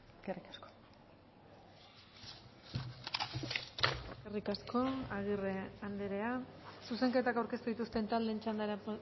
eskerrik asko eskerrik asko agirre andrea zuzenketak aurkeztu dituzten taldeen txandara